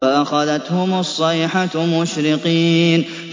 فَأَخَذَتْهُمُ الصَّيْحَةُ مُشْرِقِينَ